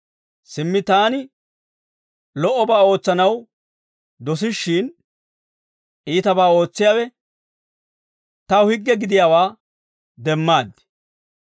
Simmi taani lo"obaa ootsanaw dosishshin, iitabaa ootsiyaawe taw higge gidiyaawaa demmaad.